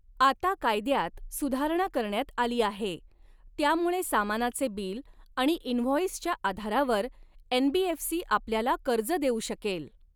आता कायद्यात सुधारणा करण्यात आली आहे, त्यामुळे सामानाचे बिल आणि इनव्हॉंईसच्या आधारावर एनबीएफसी आपल्याला कर्ज देऊ शकेल.